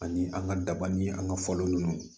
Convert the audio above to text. Ani an ka daba ni an ka fɔlɔ ninnu